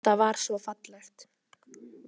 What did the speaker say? Þetta var svo fallegt.